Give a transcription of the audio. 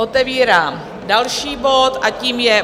Otevírám další bod a tím je